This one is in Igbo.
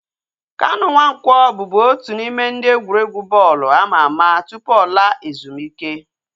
Kanu Nwanko bubu otu n'ime ndị egwuregwu bọọlụ ama ama tụpụ ọ laa ezumike